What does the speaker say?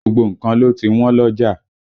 Gbogbo nǹkan ló ti wọ́n lọ́jà